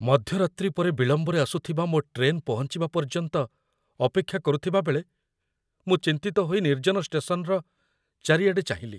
ମଧ୍ୟରାତ୍ରି ପରେ ବିଳମ୍ବରେ ଆସୁଥିବା ମୋ ଟ୍ରେନ୍ ପହଞ୍ଚିବା ପର୍ଯ୍ୟନ୍ତ ଅପେକ୍ଷା କରୁଥିବା ବେଳେ, ମୁଁ ଚିନ୍ତିତ ହୋଇ ନିର୍ଜନ ଷ୍ଟେସନ୍‌ର ଚାରିଆଡ଼େ ଚାହିଁଲି।